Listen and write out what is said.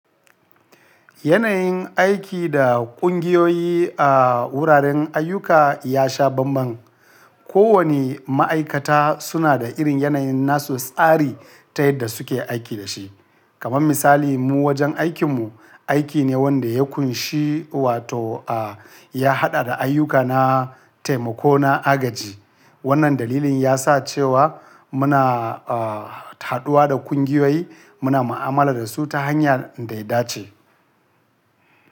Yanayin aiki da ƙungiyoyi a wuraren ayyuka ya sha bambam. Kowane ma'aikata suna da irin yanayin nasu tsari ta yadda suke aiki da shi. Kaman misali mu wajen aikin mu, aiki ne wanda ya ƙunshi wato a ya haɗa da ayyuka na taimako na agaji. Wannan dalilin yasa cewa muna a haɗuwa da ƙungiyoyi muna mu'amala da su ta hanya da ya dace.